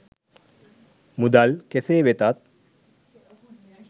මුදල් කෙසේ වෙතත්